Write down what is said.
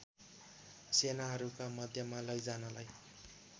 सेनाहरूका मध्यमा लैजानलाई